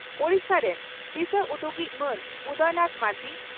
ᱳᱰᱤᱥᱟ ᱨᱮᱱ ᱫᱤᱥᱟᱹᱩᱫᱩᱜᱤᱡ ᱢᱟᱱ ᱩᱫᱚᱭᱱᱟᱛᱷ ᱢᱟᱹᱡᱷᱤ